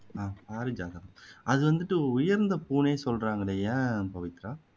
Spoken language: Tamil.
ஆஹ் பாரிஜாதம் அதை வந்துட்டு உயர்ந்த பூவுன்னே சொல்றாங்களே ஏன் பவித்ரா